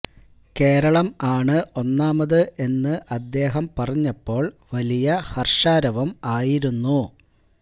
കേരളം ആണ് ഒന്നാമത് എന്നു അദ്ദേഹം പറഞ്ഞപ്പോള് വലിയ ഹര്ഷാരവം ആയിരുന്നു